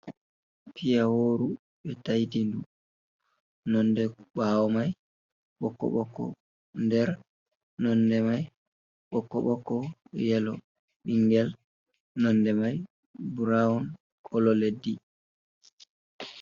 Piya wooru, ɓe taiti ndu. Nonde ɓaawo mai ɓokko-ɓokko. Nder nonde mai ɓokko-ɓokko, yelo. Bingel nonde mai brawn, kolo leddi.